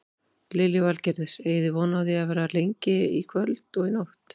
Lillý Valgerður: Eigið þið von á því að vera lengi að í kvöld og nótt?